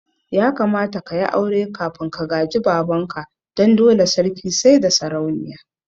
Ya kamata ka yi aure kafin ka gaji baban ka, dan dole sarki saida sarauniya